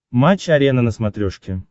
матч арена на смотрешке